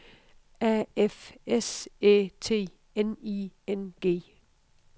A F S Æ T N I N G